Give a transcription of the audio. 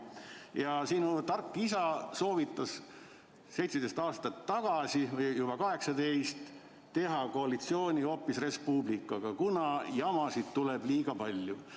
" Ja sinu tark isa soovitas 17 või nüüd juba 18 aastat tagasi teha koalitsiooni hoopis Res Publicaga, kuna jamasid tuleb liiga palju.